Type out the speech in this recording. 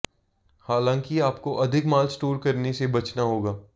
हालांकि आपको अधिक माल स्टोर करने से बचना होगा